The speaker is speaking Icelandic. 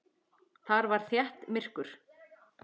Þar var þétt myrkur.